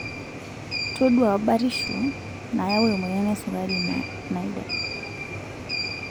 Toduaa batisho nayau emoyian esukari naida.